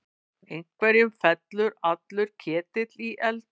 Einhverjum fellur allur ketill í eld